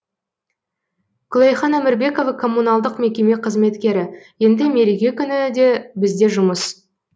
күләйхан әмірбекова коммуналдық мекеме қызметкері енді мереке күні де бізде жұмыс